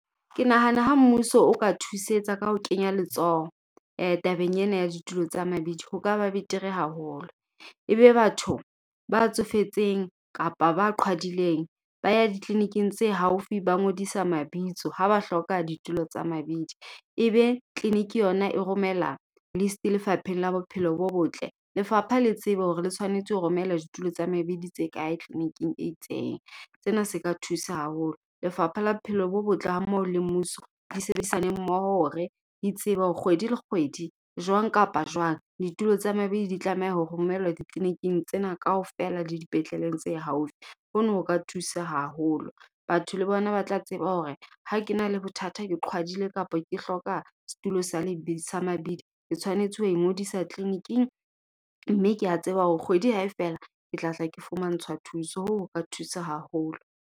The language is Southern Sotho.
Ke nahana ha mmuso o ka thusetsa ka ho kenya letsoho, tabeng ena ya ditulo tsa mabidi. Ho ka ba betere haholo. E be batho ba tsofetseng kapa ba qhwadileng, ba ya di-clinic-ing tse haufi ba ngodisa mabitso. Ha ba hloka ditulo tsa mabidi. E be clinic yona e romela list lefapheng la bophelo bo botle. Lefapha le tsebe hore le tshwanetse ho romela ditulo tsa mabidi tse kae, clinic-ing e itseng. Sena se ka thusa haholo. Lefapha la bophelo bo botle ha mmoho le mmuso, di sebedisane mmoho hore di tsebe hore kgwedi le kgwedi, jwang kapa jwang, ditulo tsa mabedi di tlameha ho romelwa di-clinic-ing tsena kaofela le dipetleleng tse haufi. Ho na o ka thusa haholo. Batho le bona ba tla tseba hore ha ke na le bothata, ke qhwadile kapa ke hloka setulo sa le, sa mabidi ke tshwanetse ho ngodisa clinic-ing. Mme ke a tseba hore kgwedi hae fela, ke tlatla ke fumantshwa thuso. Ho na ho ka thusa haholo.